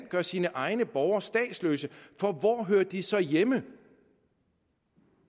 gør sine egne borgere statsløse for hvor hører de så hjemme